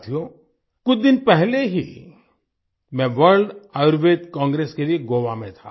साथियो कुछ दिन पहले ही मैं वर्ल्ड आयुर्वेद कांग्रेस के लिए गोवा में था